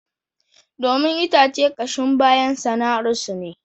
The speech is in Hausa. Domin itace kashin bayan sana'arsu ne